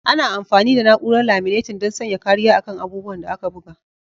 Ana amfani da na'urar laminatin don sanya kariya a kan abubuwan da aka buga.